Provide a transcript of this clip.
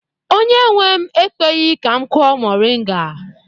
Onye nwe m ekweghi ka m kụọ moringa.